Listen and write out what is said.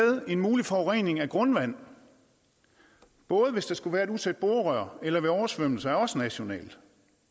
en mulig forurening af grundvand både hvis der skulle være et utæt borerør eller ved oversvømmelser er også nationalt